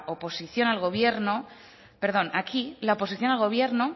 oposición al gobierno